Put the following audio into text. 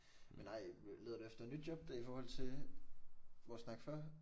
Men nej leder du efter nyt job da i forhold til vores snak før?